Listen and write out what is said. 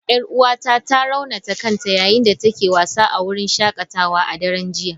Yar'uwata ta raunata kanta yayin da take wasa a wurin shakatawa a daren jiya.